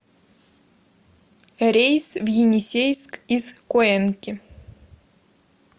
рейс в енисейск из куэнки